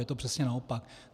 Je to přesně naopak.